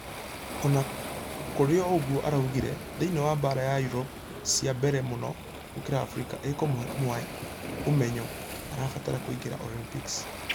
Ũna kũrĩũguo araugire...thĩinĩ wa baara ya Europe cie mbere mũno gũkĩra africa ikĩmũhe ũmenyo arabatqragq kũingira olympics.